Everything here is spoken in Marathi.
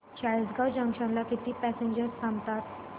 चाळीसगाव जंक्शन ला किती पॅसेंजर्स थांबतात